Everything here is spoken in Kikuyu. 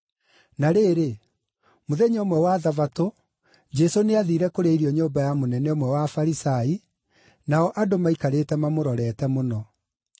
Na rĩrĩ, mũthenya ũmwe wa Thabatũ, Jesũ nĩathiire kũrĩa irio nyũmba ya mũnene ũmwe wa Afarisai, nao andũ maikarĩte mamũrorete mũno.